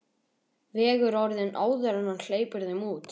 Vegur orðin áður en hann hleypir þeim út.